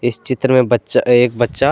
इस चित्र में बच्चा एक बच्चा--